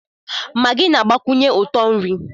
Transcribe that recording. Maggi na-agbakwụnyekwu ụtọ nri